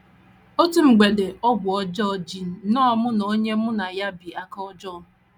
Otu mgbede, ọgwụ ọjọọ ji nnọọ mụ na onye mụ na ya bi aka ọjọọ.